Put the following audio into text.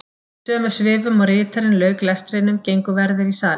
Í sömu svifum og ritarinn lauk lestrinum gengu verðir í salinn.